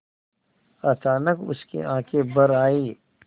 अचानक उसकी आँखें भर आईं